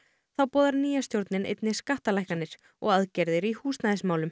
þá boðar nýja stjórnin einnig skattalækkanir og aðgerðir í húsnæðismálum